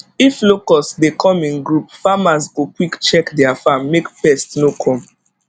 if locust dey come in group farmers go quick check their farm make pest no come